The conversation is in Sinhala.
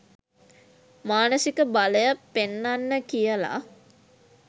මානසික බලය පෙන්නන්න කියල.